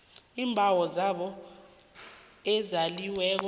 iimbawo zabo ezaliweko